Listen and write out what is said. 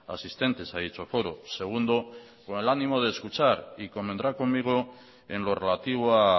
asistentes a dicho foro segundo con el ánimo de escuchar y convendrá conmigo en lo relativo a